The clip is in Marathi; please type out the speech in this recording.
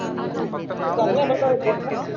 हँम्ग फक्त जरी सांगितलं असतं मी